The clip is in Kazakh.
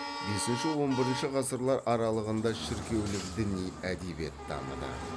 бесінші он бірінші ғасырлар аралығында шіркеулік діни әдебиет дамыды